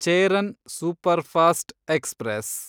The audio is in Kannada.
Cheran superfast express